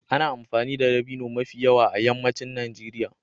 Ana amfani da dabino mafi yawa a yammacin Najeriya.